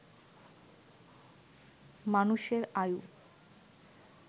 মানুষের আয়ু